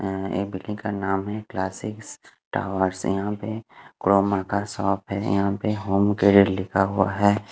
अं एक बिल्डिंग का नाम है क्लासिक टावर यहां पे क्रोमल का शॉप है यहां पे होम क्रेडिट लिखा हुआ है।